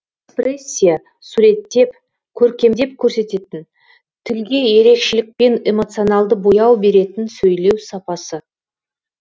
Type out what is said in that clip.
экспрессия суреттеп көркемдеп көрсететін тілге ерекшелікпен эмоционалды бояу беретін сөйлеу сапасы